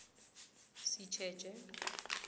sitjetjhe